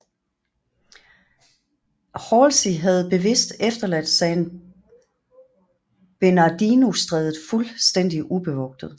Halsey havde bevidst efterladt San Bernardino Strædet fuldstændig ubevogtet